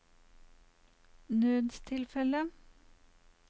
nødstilfelle